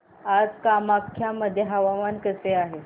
आज कामाख्या मध्ये हवामान कसे आहे